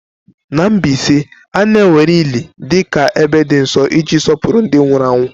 Na Mbaise, a na-ewere ili dị ka ebe nsọ iji sọpụrụ ndị nwụrụ anwụ.